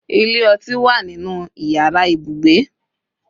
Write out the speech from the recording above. ile oti wa ninu iyara ibugbe